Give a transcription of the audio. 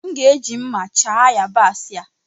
M ga-eji mma chaa yabaasị a.